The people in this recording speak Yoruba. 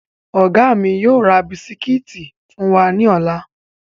Ọ̀gá mi yóò ra bisikíìtì fún wa ní ọ̀la